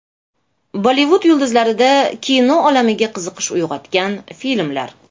Bollivud yulduzlarida kino olamiga qiziqish uyg‘otgan filmlar.